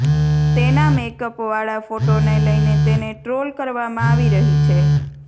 તેના મેકઅપ વાળા ફોટોને લઈને તેને ટ્રોલ કરવામાં આવી રહી છે